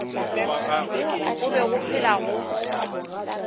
go be go phela go